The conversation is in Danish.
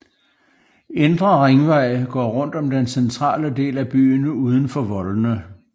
Indre Ringvej går rundt om den centrale del af byen uden for voldene